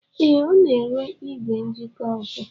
Ee, Ọ na-ere igwe njikọ ọkụ